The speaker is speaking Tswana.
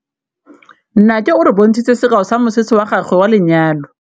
Nnake o re bontshitse sekaô sa mosese wa gagwe wa lenyalo.